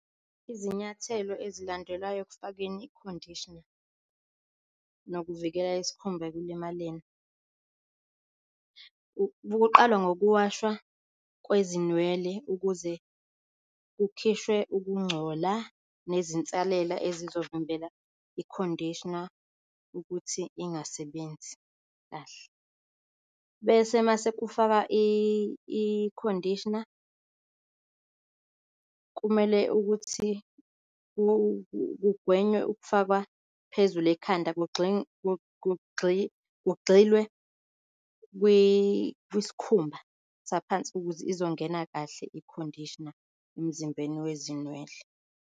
Izinyathelo ezilandelwayo ekufakeni i-conditioner nokuvikela isikhumba ekulimaleni kuqalwa ngokuwashwa kwezinwele ukuze kukhishwe ukungcola nezinsalela ezizovimbela i-conditioner ukuthi ingasebenzi kahle. Bese mase kufakwa i-conditioner kumele ukuthi kugwenywe ukufakwa phezulu ekhanda, kugxilwe kwisikhumba saphansi ukuze izongena kahle i-conditioner emzimbeni wezinwele.